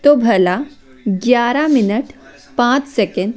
तो भला ग्यारह मिनट पांच सेकेंड --